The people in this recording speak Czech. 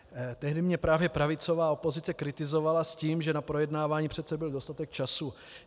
Tehdy mě právě pravicová opozice kritizovala s tím, že na projednávání přece byl dostatek času.